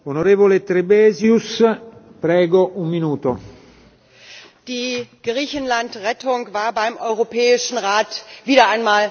Herr Präsident! Die Griechenland Rettung war beim Europäischen Rat wieder einmal das Hauptthema.